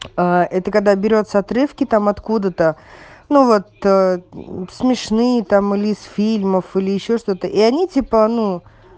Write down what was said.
аа это когда берётся отрывки там откуда-то ну вот ээ смешные там или из фильмов или ещё что-то и они типа ну